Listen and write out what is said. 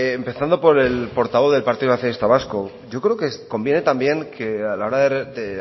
empezando por el portavoz del partido nacionalista vasco yo creo que conviene también que a la hora de